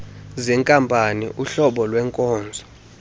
zenkampani uhlobo lwenkonzo